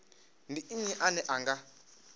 ndi nnyi ane a nga